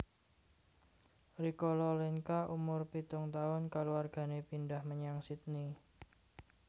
Rikala Lenka umur pitung tahun kaluargané pindhah menyang Sydney